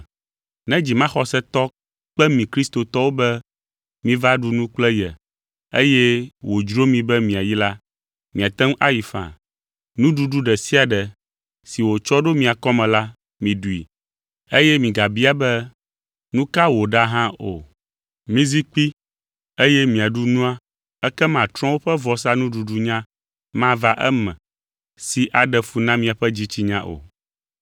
Ne dzimaxɔsetɔ kpe mi kristotɔwo be miva ɖu nu kple ye eye wòdzro mi be miayi la, miate ŋu ayi faa. Nuɖuɖu ɖe sia ɖe si wòtsɔ ɖo mia kɔme la, miɖui eye migabia be, nu ka woɖa hã o. Mizi kpi eye miaɖu nua ekema trɔ̃wo ƒe vɔsanuɖuɖunya mava eme si aɖe fu na miaƒe dzitsinya o.